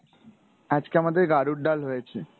আজকে আমাদের গাড়ুর ডাল হয়েছে।